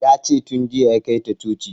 Ya ce tun jiya ya kai ta coci